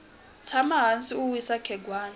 tshama hansi u wisa khegwana